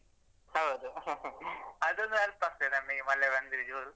ಹೌದು ಅದೊಂದು help ಆಗ್ತದೆ ನಮಗೆ ಮಳೆ ಬಂದ್ರೆ ಜೋರು.